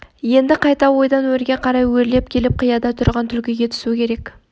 енді қайта ойдан өрге қарай өрлеп келіп қияда тұрған түлкіге түсу керек